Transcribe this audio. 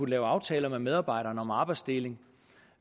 lavet aftaler med medarbejderne om arbejdsfordeling